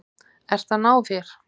Ert að ná þér.